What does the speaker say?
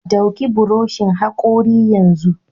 Ɗauki buroshin hakori yanzu!